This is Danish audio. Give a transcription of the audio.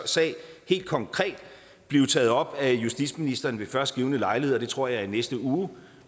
sag helt konkret blive taget op af justitsministeren ved først givne lejlighed og jeg tror det er i næste uge